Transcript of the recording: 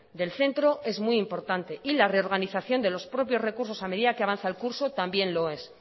del centro es muy importante y la reorganización de los propios recursos a medida que avanza el curso también lo es